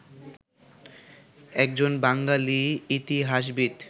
একজন বাঙালি ইতিহাসবিদ